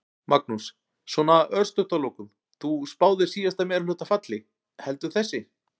Magnús: Svona örstutt að lokum, þú spáðir síðasta meirihluta falli, heldur þessi?